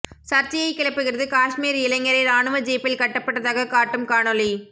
சர்ச்சையைக் கிளப்புகிறது காஷ்மீர் இளைஞரை ராணுவ ஜீப்பில் கட்டப்பட்டதாகக் காட்டும் காணொளி